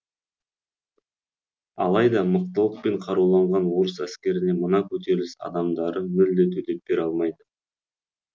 алайда мықтылықпен қаруланған орыс әскеріне мына көтеріліс адамдары мүлде төтеп бере алмайды